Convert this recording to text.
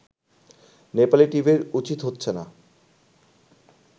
নেপালি টিভির উচিত হচ্ছে না